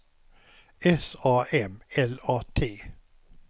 S A M L A T